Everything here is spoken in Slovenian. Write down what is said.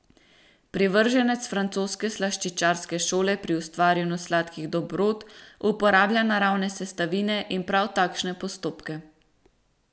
Privrženec francoske slaščičarske šole pri ustvarjanju sladkih dobrot uporablja naravne sestavine in prav takšne postopke.